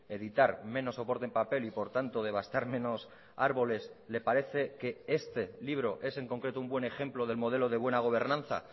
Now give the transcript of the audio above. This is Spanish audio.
editar menos soporte en papel y por tanto devastar menos árboles le parece que este libro es en concreto un buen ejemplo del modelo de buena gobernanza